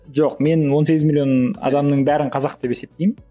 жоқ мен он сегіз миллион адамның бәрін қазақ деп есептеймін